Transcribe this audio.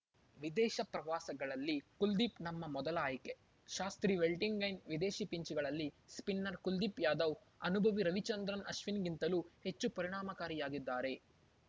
ವಿದೇಶ ಪ್ರವಾಸಗಳಲ್ಲಿ ಕುಲ್ದೀಪ್‌ ನಮ್ಮ ಮೊದಲ ಆಯ್ಕೆ ಶಾಸ್ತ್ರಿ ವೆಲ್ಲಿಂಗ್ಟನ್‌ ವಿದೇಶಿ ಪಿಚ್‌ಗಳಲ್ಲಿ ಸ್ಪಿನ್ನರ್‌ ಕುಲ್ದೀಪ್‌ ಯಾದವ್‌ ಅನುಭವಿ ರವಿಚಂದ್ರನ್‌ ಅಶ್ವಿನ್‌ಗಿಂತಲೂ ಹೆಚ್ಚು ಪರಿಣಾಮಕಾರಿಯಾಗಿದ್ದಾರೆ